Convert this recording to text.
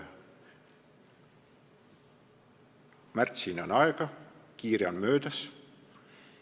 Märtsini on aega, kiire on möödas.